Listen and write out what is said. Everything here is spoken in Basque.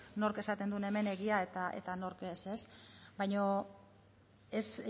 nork esaten duen egia eta nork ez baina es